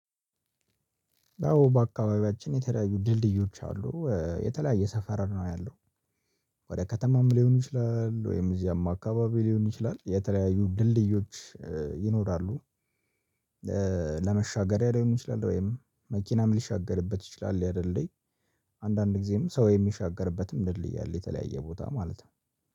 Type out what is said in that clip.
አዎ በአካባቢያችን የተለያዩ ድልድዮች አሉ የተለያየ ሰፈር ነው ያለው። ወደ ከተማም ሊሆን ይችላል ወይም እዚያም አካባቢ ሊሆን ይችላል የተለያዩ ድልድዮች ይኖራሉ። ለመሻገሪያ ሊይሆን ይችላል ወይም መኪናም ሊሻገርበት ይችላል ያ ድልድይ አንዳንድ ጊዜም ሰው የሚሻገርበትም ድልድይ አለ የተለያየ ቦታ ማለት ነው።